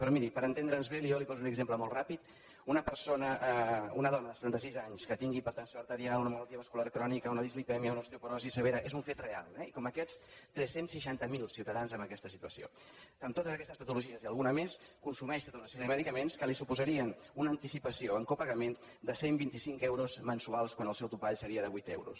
però miri per entendre’ns bé jo li poso un exemple molt ràpid una persona una dona de setanta sis anys que tingui hipertensió arterial una malaltia bascular crònica una dislipèmia una osteoporosi severa és un fet real eh i com aquests tres cents i seixanta miler ciutadans en aquesta situació amb totes aquestes patologies i alguna més consumeix tota una sèrie de medicaments que li suposarien una anticipació en copagament de cent i vint cinc euros mensuals quan el seu topall seria de vuit euros